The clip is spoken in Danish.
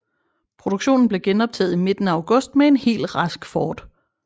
Produktionen blev genoptaget i midten af august med en helt rask Ford